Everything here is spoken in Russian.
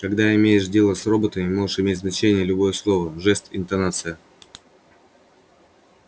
когда имеешь дело с роботами может иметь значение любое слово жест интонация